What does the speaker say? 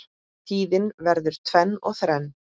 Tíðin verður tvenn og þrenn.